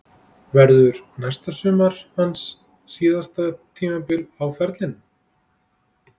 Verður næsta sumar hans síðasta tímabil á ferlinum?